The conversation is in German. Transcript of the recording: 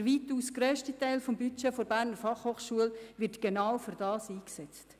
Der weitaus grösste Teil des Budgets der BFH wird genau dafür eingesetzt.